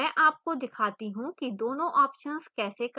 मैं आपको दिखाती how कि दोनों options कैसे काम करते हैं